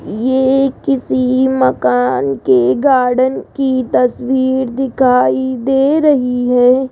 ये किसी मकान के गार्डन की तस्वीर दिखाई दे रही है।